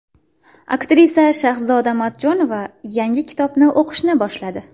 Aktrisa Shahzoda Matchonova yangi kitobni o‘qishni boshladi.